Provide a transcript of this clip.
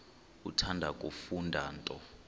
uthanda kufunda nto